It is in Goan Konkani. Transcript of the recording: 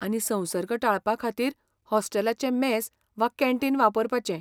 आनी संसर्ग टाळपा खातीर हॉस्टेलाचें मॅस वा कॅन्टीन वापरपाचें.